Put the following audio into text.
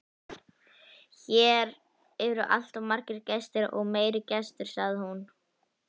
Hér eru alltaf gestir og meiri gestir, sagði hún.